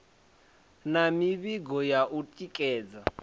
na mivhigo ya u tikedza